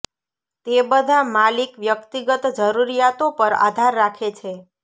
તે બધા માલિક વ્યક્તિગત જરૂરિયાતો પર આધાર રાખે છે